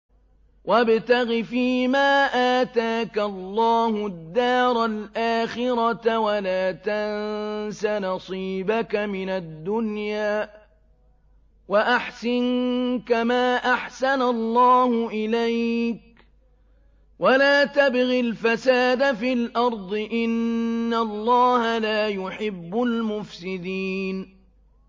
وَابْتَغِ فِيمَا آتَاكَ اللَّهُ الدَّارَ الْآخِرَةَ ۖ وَلَا تَنسَ نَصِيبَكَ مِنَ الدُّنْيَا ۖ وَأَحْسِن كَمَا أَحْسَنَ اللَّهُ إِلَيْكَ ۖ وَلَا تَبْغِ الْفَسَادَ فِي الْأَرْضِ ۖ إِنَّ اللَّهَ لَا يُحِبُّ الْمُفْسِدِينَ